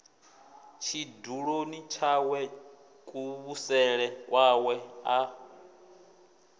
tshiduloni tshawe kuvhusele kwawe a